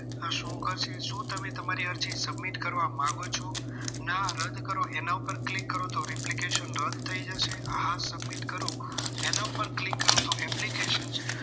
શું કરશે. શું તમે તમારી અરજી submit કરવા માંગો છો ના રદ કરો એના પર click કરો તો application રદ થઈ જશે. હા submit કરો એના પર click કરો તો application